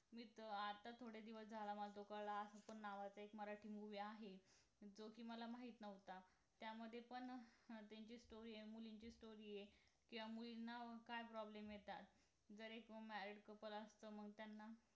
आता थोडे दिवस झाला माझा झोपाळा नावाचा एक मराठी movie आहे जो कि मला माहित नव्हता त्यामध्ये पण नात्याची story आहे मुलींची story आहे किंवा मुलींना काय problem येतात जर एक married couple असत मग त्यांना